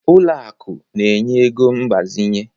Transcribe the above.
Ụlọ akụ na-enye ego mgbazinye